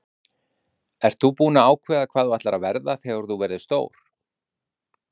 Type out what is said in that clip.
Hrund: Ert þú búin að ákveða hvað þú ætlar að verða þegar þú verður stór?